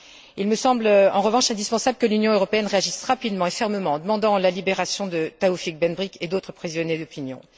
Il me semble en revanche indispensable que l'Union européenne réagisse rapidement et fermement en demandant la libération de Taoufik Ben Brik et d'autres prisonniers d'opinion.